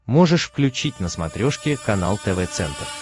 можешь включить на смотрешке канал тв центр